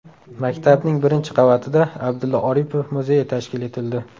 Maktabning birinchi qavatida Abdulla Oripov muzeyi tashkil etildi.